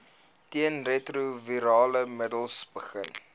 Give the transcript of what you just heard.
teenretrovirale middels begin